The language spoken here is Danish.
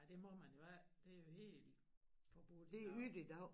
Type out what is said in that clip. Nej det må man jo ikke det jo helt forbudt i dag